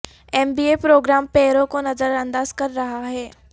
M B A program پیروں کو نظر انداز کر رہا ہے